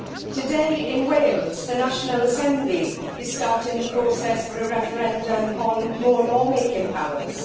Today, in Wales, the national Assembly is starting the process for a referendum on more law making powers.